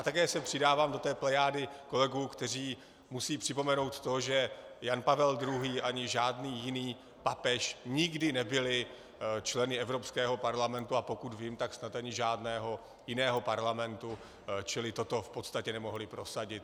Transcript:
A také se přidávám do té plejády kolegů, kteří musí připomenout to, že Jan Pavel II. ani žádný jiný papež nikdy nebyli členy Evropského parlamentu, a pokud vím, tak snad ani žádného jiného parlamentu, čili toto v podstatě nemohli prosadit.